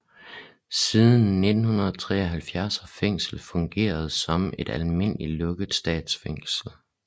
Siden 1973 har fængslet fungeret som et almindeligt lukket statsfængsel